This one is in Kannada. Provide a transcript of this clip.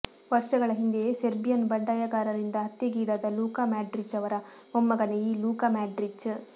ವರ್ಷಗಳ ಹಿಂದೆ ಸೆರ್ಬಿಯನ್ ಬಂಡಾಯಗಾರರಿಂದ ಹತ್ಯೆಗೀಡಾದ ಲೂಕಾ ಮ್ಯಾಡ್ರಿಚ್ ಅವರ ಮೊಮ್ಮಗನೇ ಈ ಲೂಕಾ ಮ್ಯಾಡ್ರಿಚ್